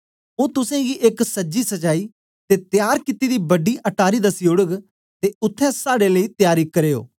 ओ तुसेंगी एक सजी सजाई ते तयार कित्ती दी बड़ी अटारी दसी ओड़ग ते उत्थें साड़े लेई तयारी करयो